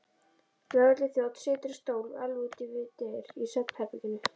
Lögregluþjónn situr á stól alveg úti við dyr í svefnherberginu.